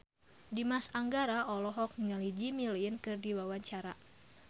Dimas Anggara olohok ningali Jimmy Lin keur diwawancara